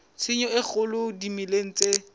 tshenyo e kgolo dimeleng tse